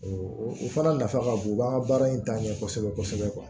o fana nafa ka bon u b'an ka baara in taa ɲɛ kosɛbɛ kosɛbɛ